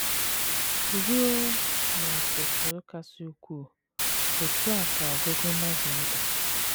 Ruo n’ọ̀tụ̀tụ̀ kasị ukwuu, otú a ka ọgụgụ Novel dị.